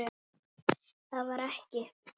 Það var ekki.